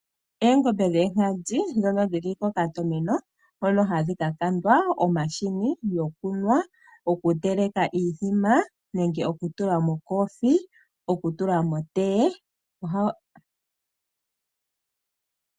Eengombe dhoonkadhi ndhono dhili kokatameno hono gadhi kakandwa omashini gokunwa, oku teleka iithima nenge oku tula mokoothiwa noshowo oku tula motee.